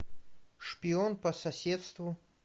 шпион по соседству